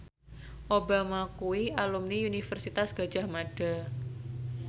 Obama kuwi alumni Universitas Gadjah Mada